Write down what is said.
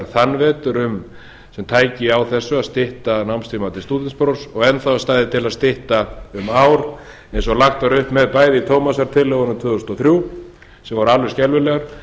þann vetur um tæki þessu að stytta námstíma til stúdentsprófs og enn stæði til að stytta um ár eins og lagt var upp með bæði í tómasartillögunum tvö þúsund og þrjú sem voru alveg skelfilegar